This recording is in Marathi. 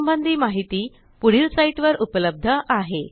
या संबंधी माहिती पुढील साईटवर उपलब्ध आहे